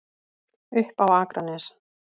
Upp á Akranes.